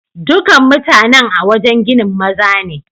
Dukan mutanen a'wajen ginin maza ne.